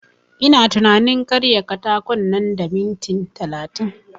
Ina tunanin karya katakon nan da minit talatin